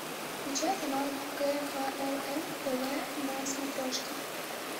включай канал кхлм тв на смотрешке